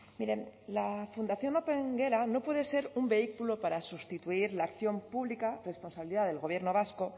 miren la fundación opengela no puede ser un vehículo para sustituir la acción pública responsabilidad del gobierno vasco